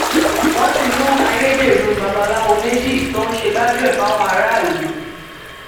wọn ti mú ayédèrú babaláwo méjì tó ń ṣe gbájúẹ fáwọn aráàlú